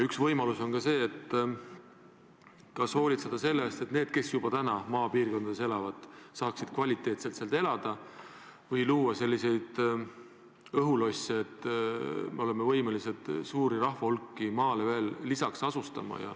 Üks küsimus on ka see, kas hoolitseda selle eest, et need, kes juba täna maapiirkondades elavad, saaksid kvaliteetselt seal elada, või luua selliseid õhulosse, et me oleme võimelised veel lisaks suuri rahvahulki maale asustama.